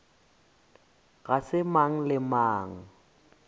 ga se mang le mang